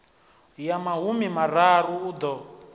ya mahumi mararu u ḓo